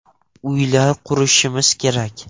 Uylar qurishimiz kerak.